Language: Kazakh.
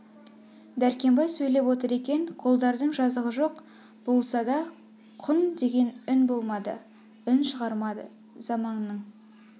дәркембай сөйлеп отыр екен қодардың жазығы жоқ болса да құн деген үн болмады үн шығырмады заманыңның